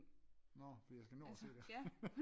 Nå fordi jeg skal nå og se det